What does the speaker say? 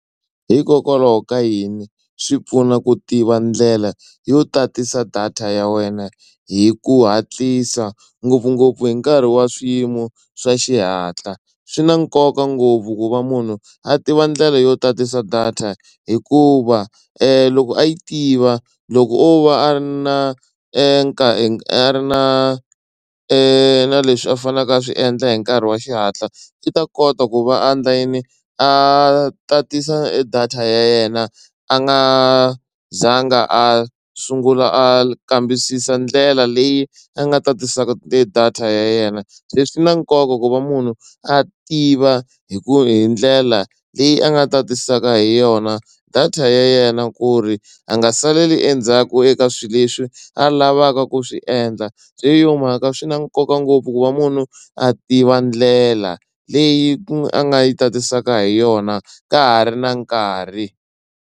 Hikokwalaho ka yini swi pfuna ku tiva ndlela yo tatisa data ya wena hi ku hatlisa ngopfungopfu hi nkarhi wa swiyimo swa xihatla swi na nkoka ngopfu ku va munhu a tiva ndlela yo tatisa data hikuva loko a yi tiva loko o va a ri na a ri na na leswi a faneleke a swi endla hi nkarhi wa xihatla i ta kota ku va a endla yini a tatisa data ya yena a nga za nga a sungula a kambisisa ndlela leyi a nga tatisa data ya yena. Leswi swi na nkoka ku va munhu a tiva hi ku hi ndlela leyi a nga tatisaka hi yona data ya yena ku ri a nga saleli endzhaku eka swilo leswi a lavaka ku swi endla se hi yo mhaka swi na nkoka ngopfu ku va munhu a tiva ndlela leyi a nga yi tatiseka hi yona ka ha ri na nkarhi.